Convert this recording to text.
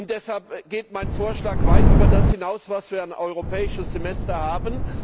Deshalb geht mein Vorschlag weit über das hinaus, was wir an Europäischem Semester haben.